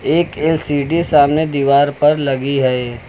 एक एल_सी_डी सामने दीवार पर लगी है।